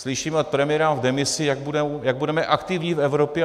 Slyšíme od premiéra v demisi, jak budeme aktivní v Evropě.